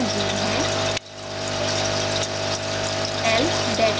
k system का gain है